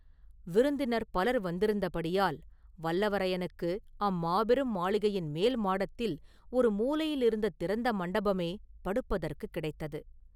விருந்தினர் பலர் வந்திருந்தபடியால் வல்லவரையனுக்கு அம்மாபெரும் மாளிகையின் மேல்மாடத்தில் ஒரு மூலையிலிருந்த திறந்த மண்டபமே படுப்பதற்குக் கிடைத்தது.